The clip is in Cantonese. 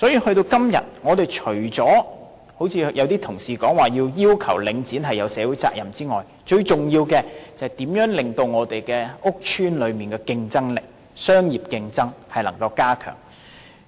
到了今天，我們除了一如部分同事所說般應要求領展承擔社會責任之外，最重要的是如何加強屋邨的商業競爭力。